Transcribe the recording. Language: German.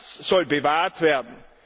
Und das soll bewahrt werden.